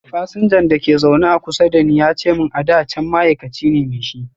fasinjan da ke a zaune kusa da ni ya ce mun ada can ma'aikaci me shi.